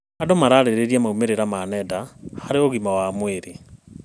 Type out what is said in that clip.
Andũ mararĩrĩria maumĩrĩra ma nenda harĩ ũgima wa mwĩrĩ.